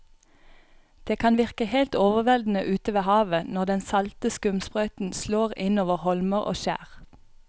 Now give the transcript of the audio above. Det kan virke helt overveldende ute ved havet når den salte skumsprøyten slår innover holmer og skjær.